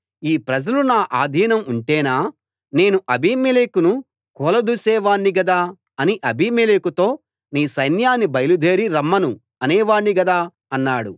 ఈ ప్రజలు నా ఆధీనం ఉంటేనా నేను అబీమెలెకును కూలదోసే వాణ్ణి గదా నేను అబీమెలెకుతో నీ సైన్యాన్ని బయలుదేరి రమ్మను అనేవాణ్ణి గదా అన్నాడు